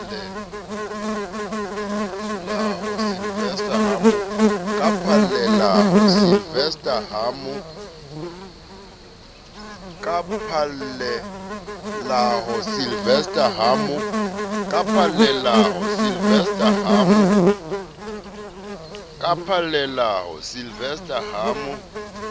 ka phallelaho sylvester ho mo